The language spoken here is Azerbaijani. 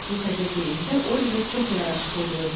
Bu təzə geyində Oliver çox yaraşıqlı görünürdü.